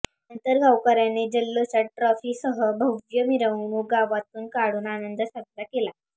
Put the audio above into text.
नंतर गावकर्यांनी जल्लोषात ट्रॉफी सह भव्य मिरवणूक गावातून काढून आंनद साजरा केला